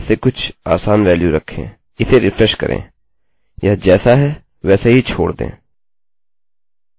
इसे रिफ्रेश करें यह जैसा है वैसे ही छोड़ दें